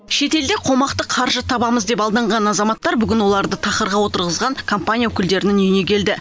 шетелде қомақты қаржы табамыз деп алданған азаматтар бүгін оларды тақырға отырғызған компания өкілдерінің үйіне келді